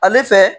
Ale fɛ